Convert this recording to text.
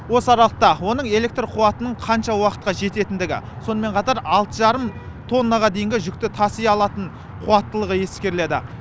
осы аралықта оның электр қуатының қанша уақытқа жететіндігі сонымен қатар алты жарым тоннаға дейінгі жүкті таси алатын қуаттылығы ескеріледі